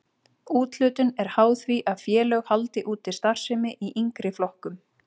Úthlutun er háð því að félög haldi úti starfsemi í yngri flokkum.